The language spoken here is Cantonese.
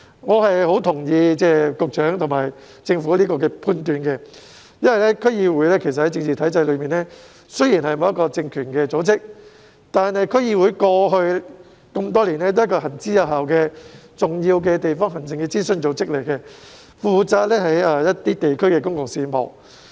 我同意局長和政府這一判斷，因為區議會在政治體制內雖然並非有政治實權的組織，但區議會過去多年來皆是行之有效的重要地方行政諮詢組織，負責地區公共事務。